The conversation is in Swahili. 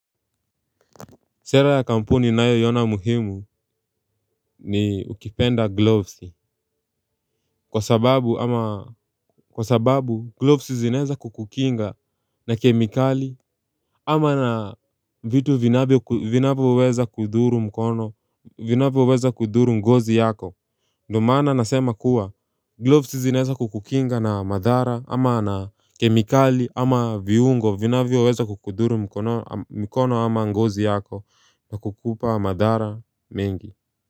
Sera ya kampuni ninayoiona muhimu ni ukipenda gloves. Kwa sababu ama kwa sababu gloves zinaeza kukukinga na kemikali. Ama na vitu vinavyoweza kudhuru mkono vinavyoweza kudhuru ngozi yako. Ndo maana nasema kuwa gloves zinaeza kukukinga na madhara ama na kemikali ama viungo vinavyoweza kukudhuru mkono ama ngozi yako na kukupa madhara mengi.